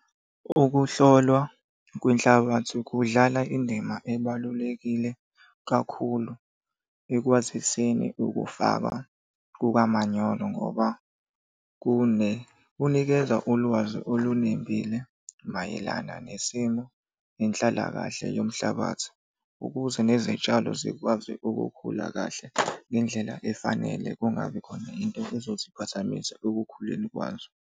Ukuhlolwa kwenhlabathi kudlala indima ebalulekile kakhulu ekwaziseni ukufakwa kukamanyolo ngoba kunikeza ulwazi olunembile mayelana nesimo inhlalakahle yomhlabathi ukuze nezitshalo zikwazi ukukhula kahle ngendlela efanele kungabi khona into ezoziphazamisa ekukhuleni kwazo.